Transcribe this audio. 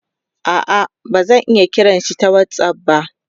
a'a bazan iya kiranshi ta whatsapp ba